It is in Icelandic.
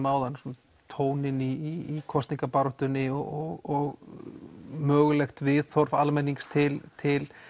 áðan um tóninn í kosningabaráttunni og mögulegt viðhorf almennings til til